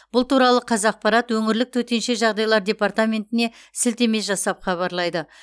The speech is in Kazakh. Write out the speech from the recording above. бұл туралы қазақпарат өңірлік төтенше жағдайлар департаментіне сілтеме жасап хабарлайды